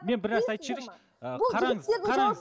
мен бір нәрсе айтып жіберейінші ыыы қараңыз қараңыз